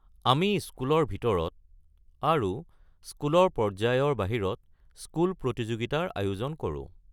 আমি স্কুলৰ ভিতৰত আৰু স্কুলৰ পৰ্য্যায়ৰ বাহিৰত স্কুল প্ৰতিযোগিতাৰ আয়োজন কৰো।